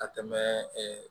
Ka tɛmɛ